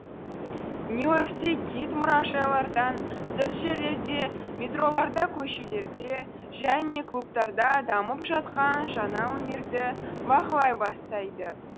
нью и оркте кит мұражайлардан тыс жерлерде метроларда көшелерде және клубтарда дамып жатқан жаңа өнерді бақылай бастайды